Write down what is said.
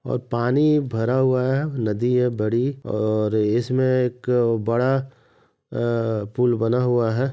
और पानी भरा हुआ है नदी है बड़ी और इसमें एक बड़ा आ पुल बना हुआ है।